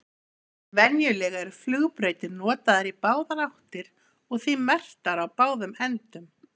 venjulega eru flugbrautir notaðar í báðar áttir og því merktar á báðum endum